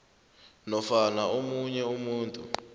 nofana omunye umuntu